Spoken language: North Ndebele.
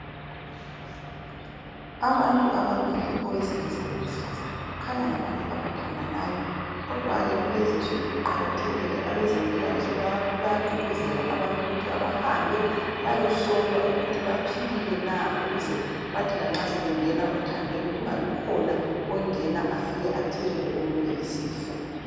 Abantu ababili, owesilisa lowesifazana kukhanya ngabantu abathandanayo kodwa-ke kulezinsuku kuqakathekile abezempilakahle bayagqugquzela abantu ukuthi kabahambe bayohlolwa ukuthi baphilile na ukuze bathi lanxa sebengena othandweni kungabi khona ongena afike athelele omunye isifo.